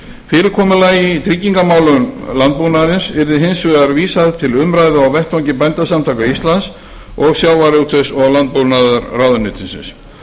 fyrirkomulagi í tryggingamálum landbúnaðarins yrði hins vegar vísað til umræðu á vettvangi bændasamtaka íslands og sjávarútvegs og landbúnaðarráðuneytisins